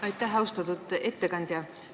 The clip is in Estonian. Aitäh, austatud ettekandja!